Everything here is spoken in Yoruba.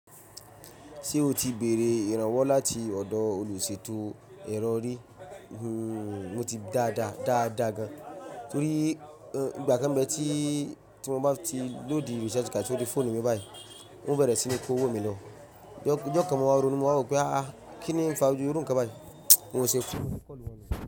Ṣé o ti bèrè ìrànwọ́ láti ọ̀dọ̀ olùṣètò erọ̀ rí? Mo ti dáadáa, dáadáa gan. Torí ìgbà kan mbẹ́ tí, tí mo bá ti load recharge card si foonu mi báyìí, wọn bẹ̀rẹ̀ sí ní kó wò mí lọ. Ọjọ́ kan mo wà rónu, mo wà wò pé "àh! Kíní n fa iru nkàn báyìí?" Mo ṣẹ kùnún kọ́ lu wọn lọ.